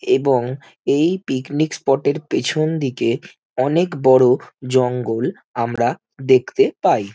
এবং এই picnic spot -এর পেছন দিকে অনেক বড় জঙ্গল আমরা দেখতে পাই ।